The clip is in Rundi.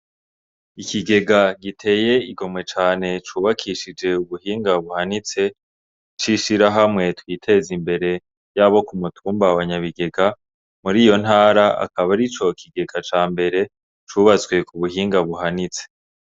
Ikigega giteye igomwe cane cubakishije ubuhinga buhanitse c'ishirahamwe Twitezimbere ryabo ku mutumba wa nyabigega muriyo ntara akaba arico kigega c'ambere cubatwse kubuhinga buhanitse.